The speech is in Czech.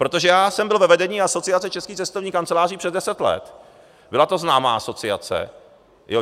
Protože já jsem byl ve vedení Asociace českých cestovních kanceláří přes deset let, byla to známá asociace.